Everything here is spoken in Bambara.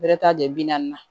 Bɛrɛtɛ jɔ na